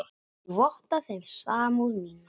Ég votta þeim samúð mína.